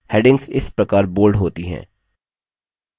headings इस प्रकार bold होती हैं